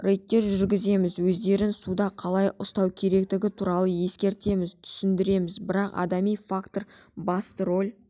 рейдтер жүргіземіз өздерін суда қалай ұстау керектігі туралы ескертеміз түсіндіреміз бірақ адами фактор басты рөл